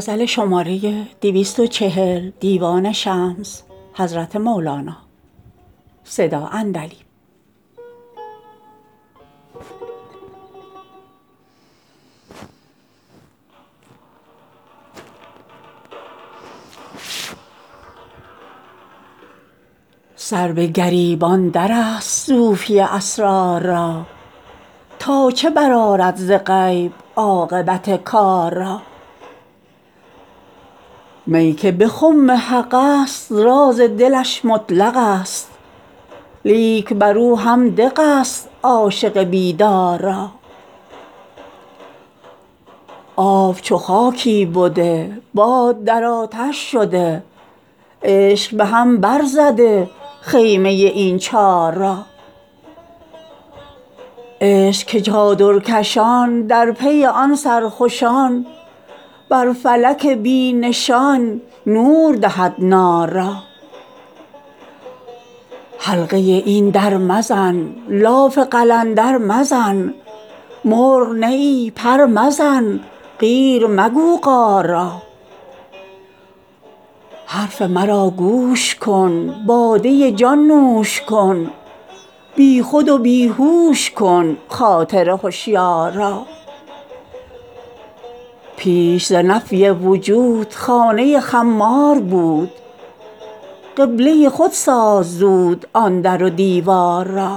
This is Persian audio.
سر به گریب اندرست صوفی اسرار را تا چه برآرد ز غیب عاقبت کار را می که به خم حقست راز دلش مطلق ست لیک بر او هم دق ست عاشق بیدار را آب چو خاکی بده باد در آتش شده عشق به هم برزده خیمه این چار را عشق که چادرکشان در پی آن سرخوشان بر فلک بی نشان نور دهد نار را حلقه این در مزن لاف قلندر مزن مرغ نه ای پر مزن قیر مگو قار را حرف مرا گوش کن باده جان نوش کن بی خود و بی هوش کن خاطر هشیار را پیش ز نفی وجود خانه خمار بود قبله خود ساز زود آن در و دیوار را